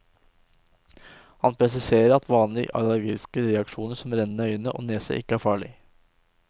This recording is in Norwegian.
Han presiserer at vanlige allergiske reaksjoner som rennende øyne og nese ikke er farlig.